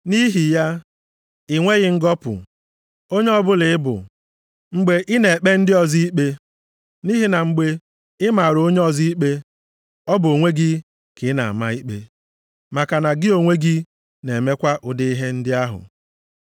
Nʼihi ya, ị nweghị ngọpụ, onye ọbụla ị bụ, mgbe ị na-ekpe ndị ọzọ ikpe. Nʼihi na mgbe ị mara onye ọzọ ikpe, ọ bụ onwe gị ka ị na-ama ikpe maka na gị onwe gị na-emekwa ụdị ihe ndị ahụ.